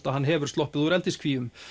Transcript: að hann hefur sloppið úr eldiskvíum